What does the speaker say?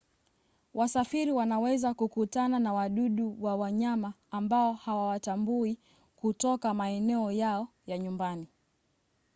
wasafiri wanaweza kukutana na wadudu wa wanyama ambao hawawatambui kutoka maeneo yao ya nyumbani